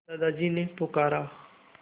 दादाजी ने पुकारा